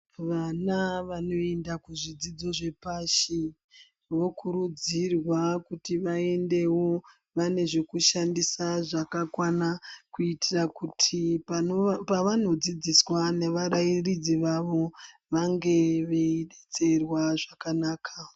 Vana vanoenda kuzvidzidzo zvapashi vokurudzirwa kuti vaendewo vane zvokushandisa zvakakwana kuitira kuti pavanodzidziswa nevarairidzi vavo vange veidetserwa zvakanaka.